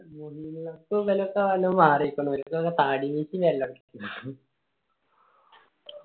മേലത്തെ മാറി നിക്കണ ഓരിക്ക്